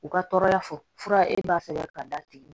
U ka tɔɔrɔya fɔ fura e b'a sɛbɛn ka d'a tigi ma